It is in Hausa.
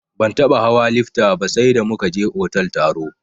Ban taɓa hawa lifta ba sai da muka je otal taro.